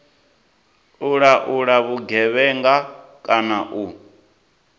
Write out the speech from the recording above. u laula vhugevhenga kana u